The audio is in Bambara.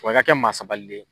Wa i ka kɛ maa sabalilen ye.